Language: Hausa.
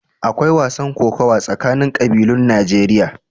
Akwai wasan kokawa tsakanin ƙabilun Najeriya.